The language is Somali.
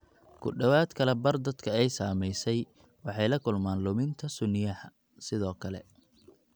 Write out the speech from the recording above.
Ku dhawaad ​​kala badh dadka ay saamaysay waxay la kulmaan luminta sunniyaha, sidoo kale.